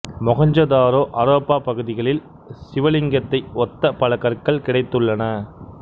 மொகெஞ்சதாரோ ஹரப்பா பகுதிகளில் சிவலிங்கத்தை ஒத்த பல கற்கள் கிடைத்துள்ளன